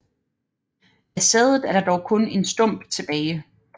Af sædet er der dog kun en stump tilbage